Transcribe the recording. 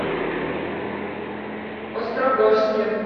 острогожске